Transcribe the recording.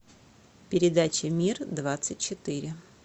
передача мир двадцать четыре